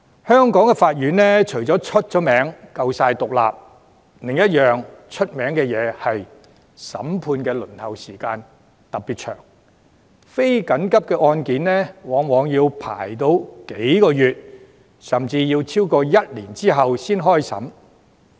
香港法院除了以獨立聞名外，審判輪候時間長亦很聞名，非緊急案件往往要排期數個月，甚至超過一年後才開審。